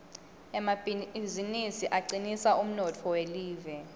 emabizinisi acinisa umnotfo welive